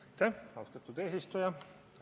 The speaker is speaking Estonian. Aitäh, austatud eesistuja!